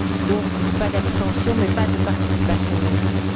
Donc, pas d'abstention, mais pas de participation non plus.